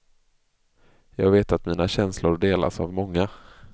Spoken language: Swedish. Jag vet att mina känslor delas av många.